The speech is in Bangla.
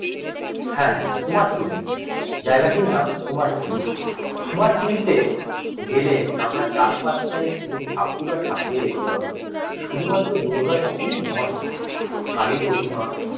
হ্যাঁ কুমারটুলি জায়গাটির নাম কুমারটুলি কুমারটুলিতে গেলে আমরা চার পাশটায় শুধু ঠাকুরের ঠাকুরই দেখতে পাবো শুধুমাত্র দুর্গা ঠাকুরই নয় কালি প্রতিমা